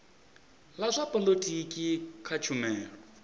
la zwa polotiki kha tshumelo